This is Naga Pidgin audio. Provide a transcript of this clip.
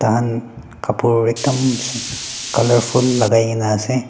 kapur ekdum colourfull lakai kaena ase.